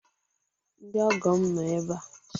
Ndị ọgọ m nọ ebe a.